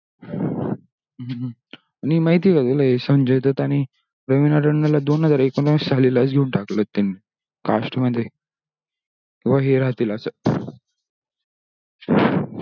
नि माहीत हे का तुला हे संजय दत्त आणि रवीणा टनडन ला दोन हजार एकूण आविस साली लाच घेऊन टाकला होता त्यांनी cast मध्ये हो भो ही राहतील असा